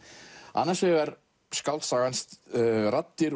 annars vegar skáldsagan raddir